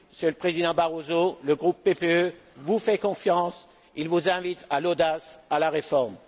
Monsieur le Président Barroso, le groupe PPE vous fait confiance, il vous invite à l'audace, à la réforme.